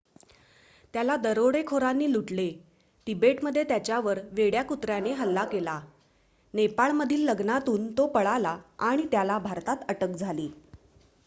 त्याला दरोडेखोरांनी लुटले तिबेटमध्ये त्याच्यावर वेड्या कुत्राने हल्ला केला नेपाळमधील लग्नातून तो पळाला आणि त्याला भारतात अटक झाली